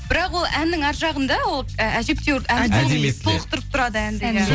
бірақ ол әннің ар жағында ол ә әжептеуір толықтырып тұрады әнді иә